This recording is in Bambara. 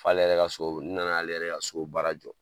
F'ale yɛrɛ ka so, n nan'ale yɛrɛ ka so baara jɔ.